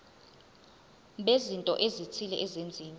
bezinto ezithile ezenziwa